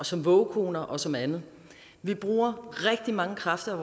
som vågekoner og som andet vi bruger rigtig mange kræfter